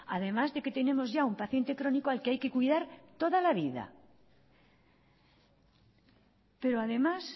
además de que tenemos ya un paciente crónico al que hay que cuidar toda la vida pero además